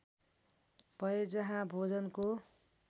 भए जहाँ भोजनको